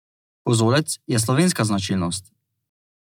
Kozolec je slovenska značilnost.